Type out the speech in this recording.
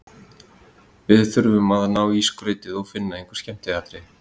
Við þurfum að ná í skrautið og finna einhver skemmtiatriði.